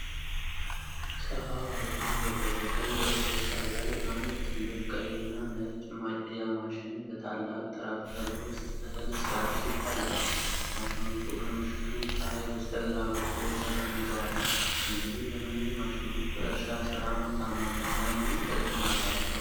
ሰፋ ባለና በደረቀ የእህል እርሻ ላይ፣ አንድ ትልቅ ቀይና ነጭ ማጨጃ ማሽን በታላቅ ትራክተር ውስጥ እህል ሲያፈስ ይታያል። ማሽኖቹ ከምሽቱ ፀሐይ በስተግራ በኩል ተቀምጠዋል። እነዚህ ዘመናዊ ማሽኖች በእርሻ ሥራ ምርታማነት ላይ ምን ተጽዕኖ አላቸው?